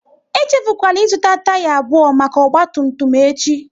Echefukwala ị zụta taya abụọ maka ọgba tum tum echi!